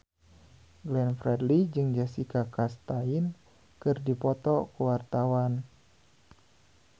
Glenn Fredly jeung Jessica Chastain keur dipoto ku wartawan